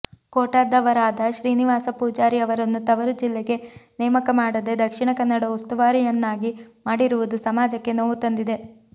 ಕೋಟದವರಾದ ಶ್ರೀನಿವಾಸ ಪೂಜಾರಿ ಅವರನ್ನು ತವರು ಜಿಲ್ಲೆಗೆ ನೇಮಕ ಮಾಡದೆ ದಕ್ಷಿಣ ಕನ್ನಡ ಉಸ್ತುವಾರಿಯನ್ನಾಗಿ ಮಾಡಿರುವುದು ಸಮಾಜಕ್ಕೆ ನೋವು ತಂದಿದೆ